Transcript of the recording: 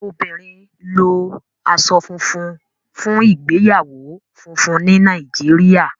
obìnrin lo aṣọ funfun fún ìgbéyàwó fúnfún ní Nàìjíríà.